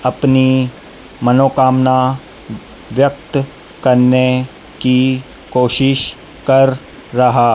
अपनी मनोकामना व्यक्त करने की कोशिश कर रहा--